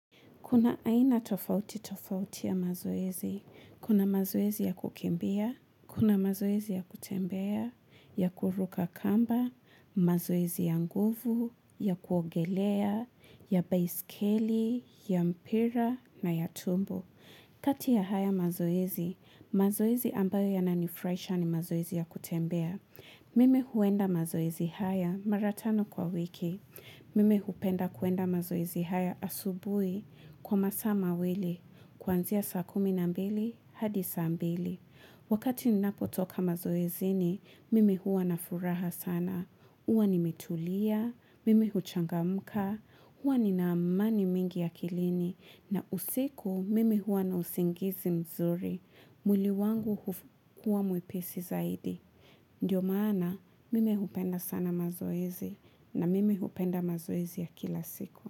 Kuna aina tofauti tofauti ya mazoezi, kuna mazoezi ya kukimbia, kuna mazoezi ya kutembea, ya kuruka kamba, mazoezi ya nguvu, ya kuogelea, ya baiskeli, ya mpira na ya tumbo. Kati ya haya mazoezi, mazoezi ambayo yananifuraisha ni mazoezi ya kutembea. Mimi huenda mazoezi haya mara tano kwa wiki. Mimi hupenda kuenda mazoezi haya asubui kwa masaa mawili. Kwanzia saa kumi na mbili hadi saa mbili. Wakati ninapotoka mazoezini, mimi huwa na furaha sana. Huwa nimetulia, mimi huchangamuka, huwa ninaamani mingi ya akilini. Na usiku mimi huwa na usingizi mzuri. Mwili wangu huwa mwepisi zaidi. Ndiyo maana mimi hupenda sana mazoezi. Na mime hupenda mazoezi ya kila siku.